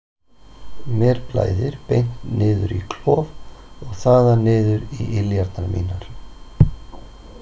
Mér blæðir beint niður í klof og þaðan niður í iljarnar mínar.